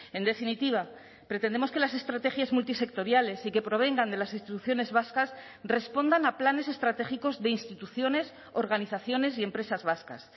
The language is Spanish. en definitiva pretendemos que las estrategias multisectoriales y que provengan de las instituciones vascas respondan a planes estratégicos de instituciones organizaciones y empresas vascas